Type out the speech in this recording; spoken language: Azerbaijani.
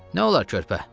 Nə olar, körpə?